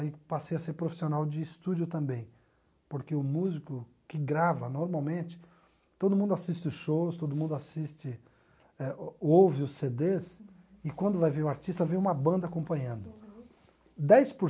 aí passei a ser profissional de estúdio também, porque o músico que grava normalmente, todo mundo assiste os shows, todo mundo assiste, eh ouve os cê dês, e quando vai ver o artista, vem uma banda acompanhando. Uhum. Dez por